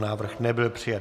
Návrh nebyl přijat.